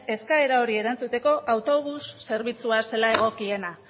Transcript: eskaera horri erantzuteko autobus zerbitzua zela egokiena